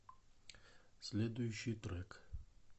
следующий трек